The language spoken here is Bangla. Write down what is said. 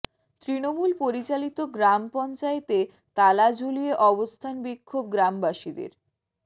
তৃণমূল পরিচালিত গ্রাম পঞ্চায়েতে তালা ঝুলিয়ে অবস্থান বিক্ষোভ গ্রামবাসীদের